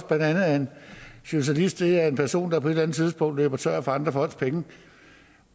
at en socialist er en person der på et eller andet tidspunkt løber tør for andre folks penge